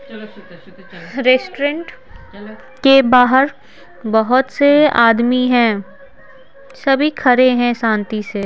restaurant चलो के बाहर बहुत से आदमी हैं सभी खड़े हैं शांति से--